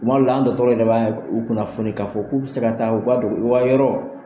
Kuma dɔ la an dɔtɔrɔ yɛrɛ ba u kunnafoni ka fɔ k'u bɛ se ka taa u ka dugu u ka yɔrɔ